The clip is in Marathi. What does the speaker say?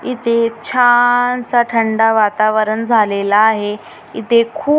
इथे छा नसा थंडा वातावरण झालेला आहे इथे खूप --